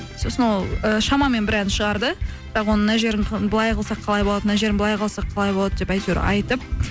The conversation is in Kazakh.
сосын ол ы шамамен бір ән шығарды бірақ оның мына жерін былай қылсақ қалай болады мына жерін былай қылсақ болады деп әйтеуір айтып